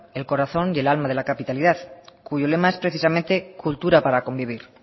el corazón y el alma de la capitalidad cuyo lema es precisamente cultura para convivir